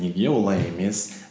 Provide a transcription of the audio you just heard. неге олай емес